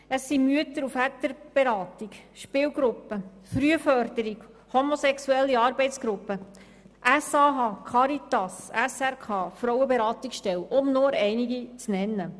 Es sind Mütter- und Väterberatungsstellen, Spielgruppen, die Frühforderung, die Homosexuelle Arbeitsgruppen Bern (HAB), die SAH, die Caritas, Frauenberatungsstellen – um nur einige zu nennen.